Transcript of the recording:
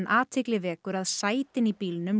athygli vekur að sætin í bílnum